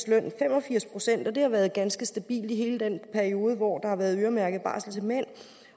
løn fem og firs procent og det har været ganske stabilt i hele den periode hvor der har været øremærket barsel til mænd